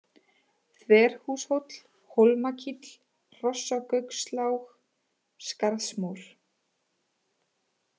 Þverhúshóll, Hólmakíll, Hrossagaukslág, Skarðsmór